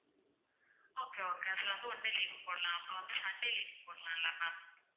okay okay அதுல வந்து one day leave போடலாம் அப்போ வந்து sunday leave போடலாம் இல்ல ma'am